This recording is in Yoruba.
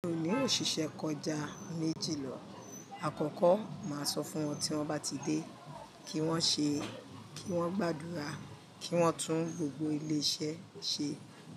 Mi ò ní òṣìṣẹ́ kọjá méjì lọ. Àkọ́kọ́, màá sọ fún wọn tí wọ́n bá ti dé, kí wọ́n ṣe, kí wọ́n gbàdúrà, kí wọ́n tún gbogbo ilé iṣẹ́ ṣe,